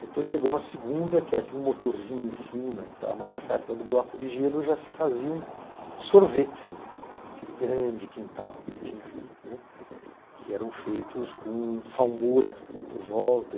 Depois chegou uma segunda que havia um motorzinho em cima e tal, mas nessa época do bloco de gelo já se faziam sorvetes, né, naquele grande quintal que tinha ali, né, que eram feitos com salmoura por volta.